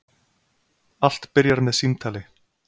Allt byrjar með símtali.